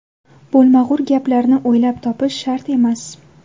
Bo‘lmag‘ur gaplarni o‘ylab topish shart emas.